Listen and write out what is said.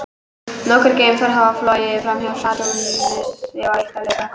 Nokkur geimför hafa flogið framhjá Satúrnusi og eitt er á leið þangað.